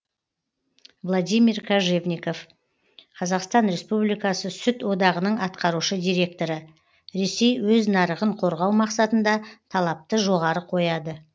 владимир кожевников қазақстан республикасы сүт одағының атқарушы директоры ресей өз нарығын қорғау мақсатында талапты жоғары қояды